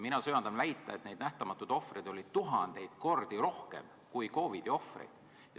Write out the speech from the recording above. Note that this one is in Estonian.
Mina söandan väita, et neid nähtamatuid ohvreid oli tuhandeid kordi rohkem kui COVID-i ohvreid.